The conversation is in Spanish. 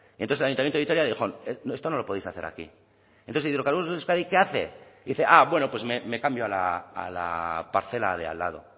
entonces el ayuntamiento de vitoria dijo esto no lo podéis hacer aquí entonces hidrocarburos de euskadi qué hace dice ah bueno pues me cambio a la parcela de al lado